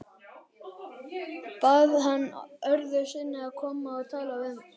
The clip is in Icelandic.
Bað hann öðru sinni að koma og tala við sig.